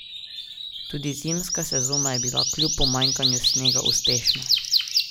Tudi zimska sezona je bila kljub pomanjkanju snega uspešna.